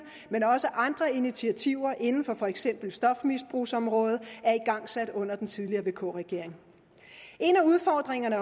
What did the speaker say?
men også andre initiativer inden for for eksempel stofmisbrugsområdet er igangsat under den tidligere vk regering en af udfordringerne